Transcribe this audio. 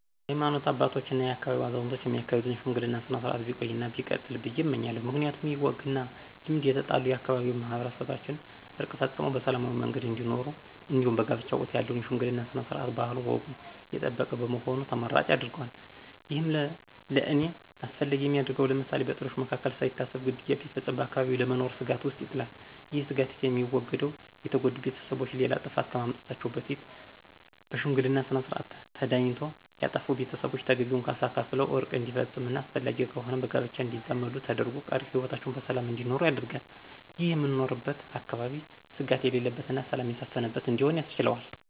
የሀይማኖት አባቶች እና የአካባቢው አዛውንቶች የሚያካሂዱትን የሽምግልና ስነ-ስርዓት ቢቆይ እና ቢቀጥል ብዬ እመኛለሁ። ምክንያቱም ይህ ወግ እና ልማድ የተጣሉ የአካባቢው ማህበረሰቦችን ዕርቅ ፈፅመው በሰላማዊ መንገድ እንዲኖሩ እንዲሁም በጋብቻ ወቅት ያለው የሽምግልና ስነ-ስርዓት ባህሉንና ወጉን የጠበቀ በመሆኑ ተመራጭ ያደርገዋል። ይህም ለእኔ አስፈላጊ የሚያደርገው ለምሳሌ፦ በጥሎች መካከል ሳይታሰብ ግድያ ቢፈፀም በአካባቢው ለመኖር ስጋት ውስጥ ይጥላል። ይህ ስጋት የሚወገደው የተጎዱ ቤተሰቦች ሌላ ጥፋት ከማምጣታቸው በፊት በሽምግልና ስነስርዓት ተዳኝቶ ያጠፉ ቤተሰቦች ተገቢውን ካሳ ከፍለው ዕርቅ እንዲፈፀምና አስፈላጊ ከሆነም በጋብቻ እንዲዛመዱ ተደርጎ ቀሪ ህይወታቸውን በሰላም እንዲኖሩ ያደርጋል። ይህም የምኖርበትን አካባቢ ስጋት የሌለበትና ሰላም የሰፈነበት እንዲሆን ያስችለዋል።